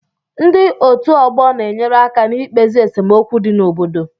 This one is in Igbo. Ndị otu ọgbọ na-enyere aka n'ikpezi esemokwu dị n'obodo